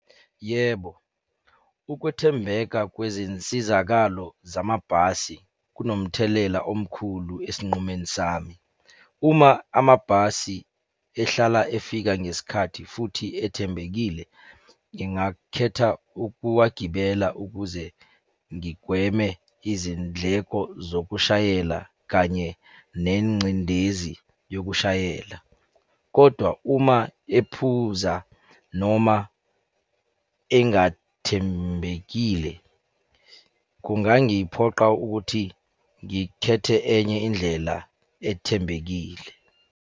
Yebo, ukwethembeka kwezinsizakalo zamabhasi kunomthelela omkhulu esinqumeni sami. Uma amabhasi ehlala efika ngesikhathi futhi ethembekile, ngingakhetha ukuwagibela ukuze ngigweme izindleko zokushayela kanye nengcindezi yokushayela, kodwa uma ephuza noma engathembekile, kungangiphoqa ukuthi ngikhethe enye indlela ethembekile.